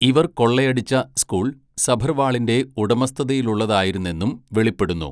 ഇവർ കൊള്ളയടിച്ച സ്കൂൾ സഭർവാളിൻ്റെ ഉടമസ്ഥതയിലുള്ളതായിരുന്നെന്നും വെളിപ്പെടുന്നു.